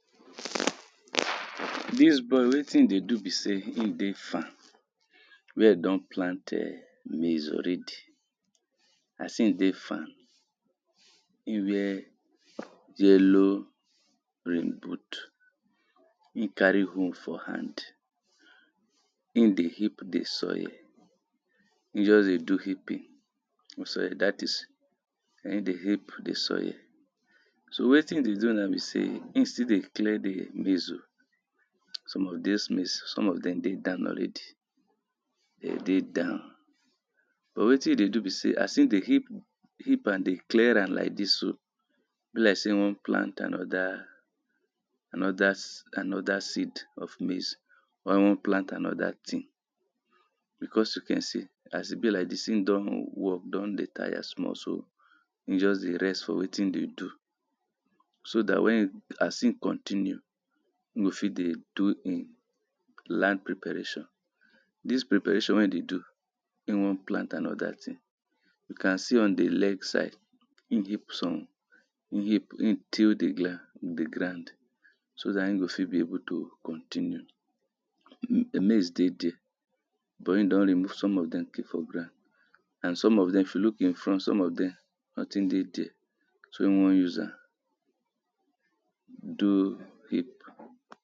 Dis boy wetin im dey do be sey im dey farm di boy don plant maze already as im dey farm, im wear yellow rain boot, im carry hoe for hand, im dey heap di soil im just dey do heaping, dat is im dey heap di soil. So wetin im dey do now be sey im still dey clear di maze oh, some of dis maze, some of dem dey down already, dey dey down but wetin im dey do be sey as im dey heap am dey clear am like dis, be like sey im wan plant anoda anoda seed of maze or im wan anoda tin becos we can see as im be like dis im don work don dey tire small so, im just dey rest for wetin im dey do so wen as im continue im go fit dey do im land preparation dis preparation wey im dey do im wan plant anoda tin. You can see on di leg side im heap some, heap, heap, till di ground so dat im fit be able to continue. Maze dey dere but im don remove some of dem keep for ground and some of dem if you look im front some of dem notin dey dere, so im wan use am do heap.